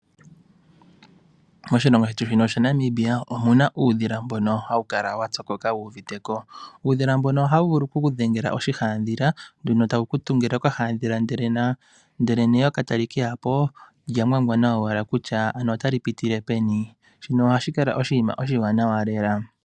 Moshilongo shetu shaNamibia omuna uudhila mbono hawu kala wa pyokoka wu uviteko. Uudhila mbono ohawu vulu oku ku dhengela oshihadhila tawu ku tungile oka hadhila nde neyoka tali ke yapo olya ngwangwana owala kutya otali pitile peni.